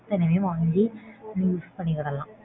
அத்தனையுமே வாங்கி நீ use பண்ணிகிடலாம்.